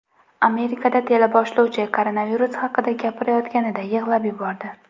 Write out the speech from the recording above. Amerikada teleboshlovchi koronavirus haqida gapirayotganida yig‘lab yubordi .